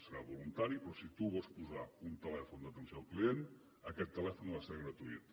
serà voluntari però si tu vols posar un telèfon d’atenció al client aquest telèfon ha de ser gratuït